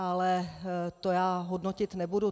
Ale to já hodnotit nebudu.